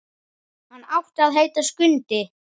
Hann átti að heita Skundi.